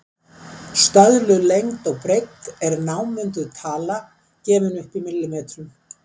Stöðluð lengd og breidd er námunduð tala, gefin upp í millimetrum.